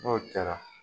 N'o kɛra